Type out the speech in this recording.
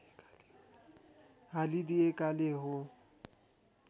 हालिदिएकाले हो